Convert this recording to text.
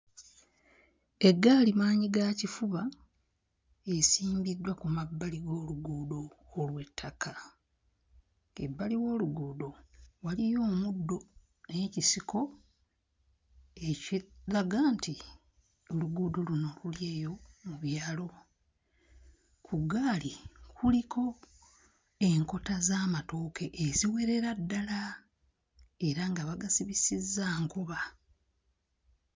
Eggaali maanyi ga kifuba esimbiddwa ku mabbali g'oluguudo olw'ettaka. Ebbali w'oluguudo waliyo omuddo n'ekisiko ekiraga nti oluguudo luno luli eyo mu byalo. Ku ggaali kuliko enkota z'amatooke eziwerera ddala era nga bagasibisizza nkoba.